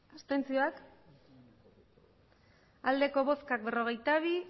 hirurogeita hamairu bai berrogeita bi